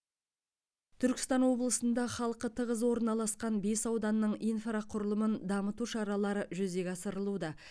түркістан облысында халқы тығыз орналасқан бес ауданның инфрақұрылымын дамыту шаралары жүзеге асырылуда